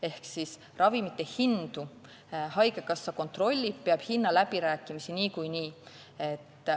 Ehk ravimite hindu haigekassa kontrollib, ta peab hinnaläbirääkimisi niikuinii.